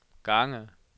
gange